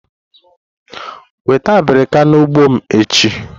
Weta abirika n'ugbo m echi!